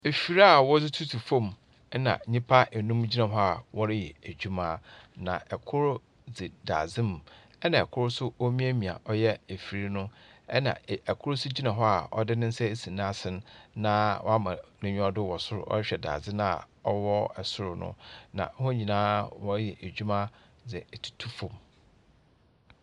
Afidie aa wɔde tutu fam ɛna nnipa ɛnum gyina hɔ aa wɔreyɛ adwuma na ɛkoro de da dade mu ɛna ɛkoro wɔremiemia ɔyɛ afidie noo ɛna ɛkoro nso ɛgyina hɔ aa ɔde ne nsa asi naasene naa wama naniwado wɔ soro wɔrehwɛ dade no aa ɔwɔ soro no na wɔn nyinaa ɔɔyɛ adwuma de atutu fam.